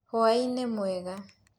Hũainĩ mwega.